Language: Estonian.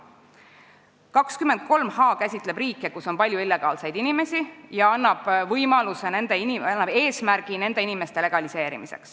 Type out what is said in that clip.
Punkt 23h käsitleb riike, kus on palju illegaalseid inimesi, ja annab eesmärgi nende staatus legaliseerida.